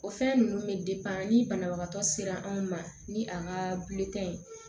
O fɛn ninnu bɛ ni banabagatɔ sera anw ma ni a ka ye